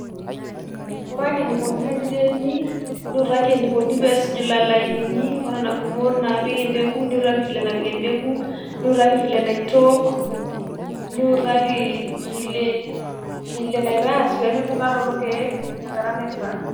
orake enikoni teniremi niutaki enikoni pesuj lelo lainini onena gumot napik empeku niutaki ,niutakaki vile napik empeku ,niutaki vila naitook ,niutaki vile vile naitaas pemibunga lelo keek tenkata naifaa.